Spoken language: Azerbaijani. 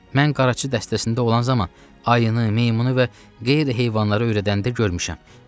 Mən qaraçı dəstəsində olan zaman ayını, meymunu və qeyri-heyvanları öyrədəndə görmüşəm.